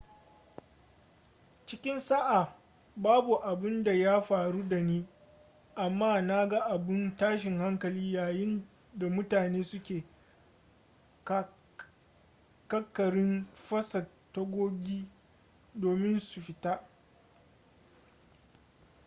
cikin sa'a babu abun da ya faru da ni amma na ga abun tashin hankali yayin da mutane suke ƙaƙarin fasa tagogi domin su fita